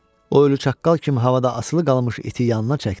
O ölü çaqqal kimi havada asılı qalmış iti yanına çəkdi.